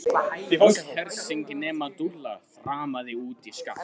Öll hersingin nema Dúlla þrammaði út í skafl.